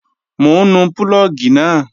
Mò ń nu púlọ̀gì náà